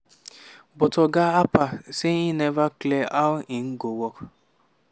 but oga harper say e neva clear how im go work